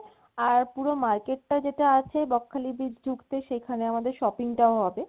আর পুরো market টা যেটা আছে বকখালি beach ঢুকতে সেখানে আমাদের shopping টাও হবে